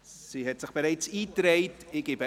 Sie hat sich bereits eingetragen.